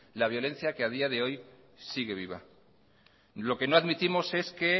la violencia que a día de hoy sigue viva lo que no admitimos es que